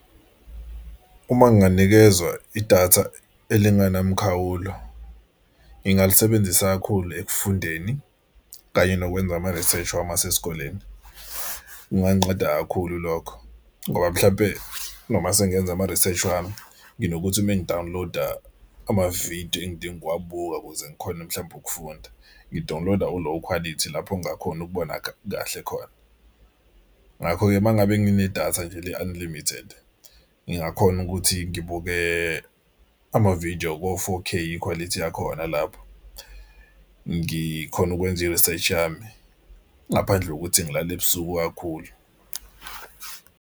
Uma nginganikezwa idatha elingenamkhawulo, ngingalisebenzisa kakhulu ekufundeni kanye nokwenza amarisheshi wami asikoleni. Kunganqeda kakhulu lokho ngoba mhlampe noma sengenza amariseshi ami nginokuthi uma ngidawuniloda amavidiyo engidinga ukuwabuka ukuze ngikhone mhlawumbe ukufunda ngidawuniloda ulowu khwalithi lapho ngingakhoni ukubona kahle khona. Ngakho-ke uma ngabe nginedatha nje le-unlimited ngingakhona ukuthi ngibuke amavidiyo ko-four K ikhwalithi yakhona lapho. Ngikhona ukwenza iriseshi yami ngaphandle kokuthi ngilale ebusuku kakhulu.